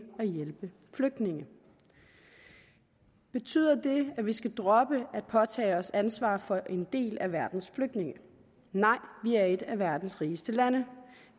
at hjælpe flygtninge betyder det at vi skal droppe at påtage os et ansvar for en del af verdens flygtninge nej vi er et af verdens rigeste lande